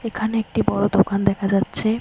এখানে একটি বড় দোকান দেখা যাচ্ছে।